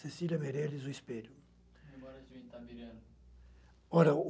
Cecília Meirelles, O Espelho.